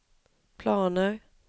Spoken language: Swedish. planer